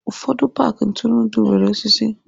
Ụfọdụ paaki ntụrụndụ nwere osisi.